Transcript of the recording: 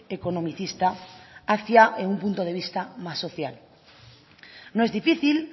economicista hacia un punto de vista más social no es difícil